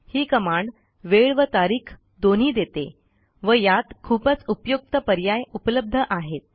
ही command वेळ व तारीख दोन्ही देते व यात खूपच उपयुक्त पर्याय उपलब्ध आहेत